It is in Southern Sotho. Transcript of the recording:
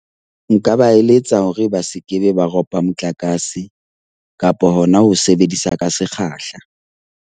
Nka ba eletsa hore ba sekebe ba ropa motlakase kapa hona ho sebedisa ka sekgahla.